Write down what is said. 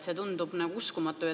See tundub nagu uskumatu.